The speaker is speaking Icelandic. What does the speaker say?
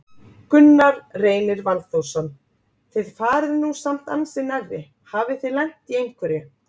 Gunnar Reynir Valþórsson: Þið farið nú samt ansi nærri, hafið þið lent í einhverju?